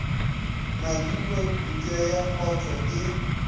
madilo mpša ya kgotho e